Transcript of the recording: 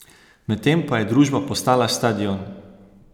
Medtem pa je družba postala stadion!